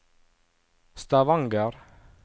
Stavanger